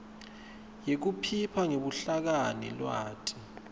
yekuphipha ngebuhlakani lwati